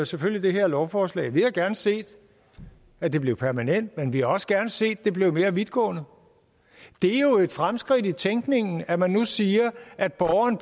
selvfølgelig det her lovforslag vi havde gerne set at det blev permanent men vi havde også gerne set at det blev mere vidtgående det er jo et fremskridt i tænkningen at man nu pludselig siger at borgeren